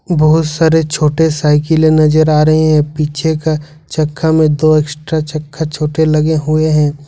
बहुत सारे छोटे साइकिले नजर आ रहे हैं पीछे का चक्का में दो एक्स्ट्रा चक्का छोटे लगे हुए हैं।